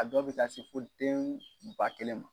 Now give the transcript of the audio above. A dɔw bɛ taa se fɔ den ba kelen ma.